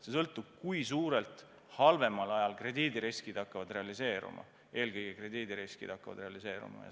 See sõltub sellest, kui suurel määral halvemal ajal krediidiriskid hakkavad realiseeruma.